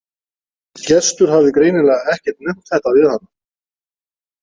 Gestur hafði greinilega ekkert nefnt þetta við hana.